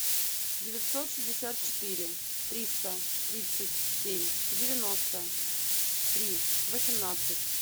девятьсот шестьдесят четыре триста тридцать семь девяносто три восемнадцать